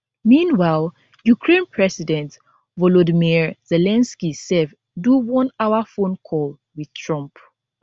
meanwhile ukraine president volodymyr zelensky sef do onehour phone call wit trump